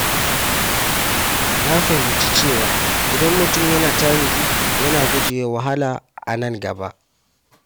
Na fahimci cewa idan mutum yana tanadi, yana gujewa wahala a nan gaba.